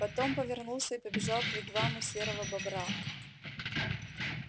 потом повернулся и побежал к вигваму серого бобра